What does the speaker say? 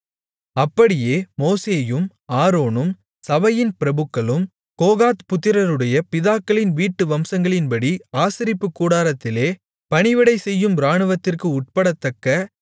அப்படியே மோசேயும் ஆரோனும் சபையின் பிரபுக்களும் கோகாத் புத்திரருடைய பிதாக்களின் வீட்டு வம்சங்களின்படி ஆசரிப்புக் கூடாரத்திலே பணிவிடை செய்யும் இராணுவத்திற்கு உட்படத்தக்க